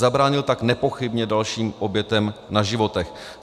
Zabránil tak nepochybně dalším obětem na životech.